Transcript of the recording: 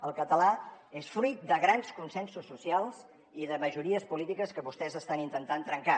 el català és fruit de grans consensos socials i de majories polítiques que vostès estan intentant trencar